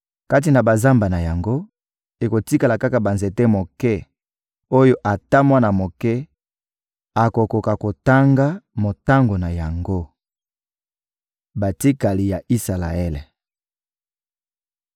Kati na bazamba na yango, ekotikala kaka banzete moke oyo ata mwana moke akokoka kotanga motango na yango. Batikali ya Isalaele